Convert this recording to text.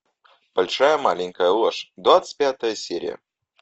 большая маленькая ложь двадцать пятая серия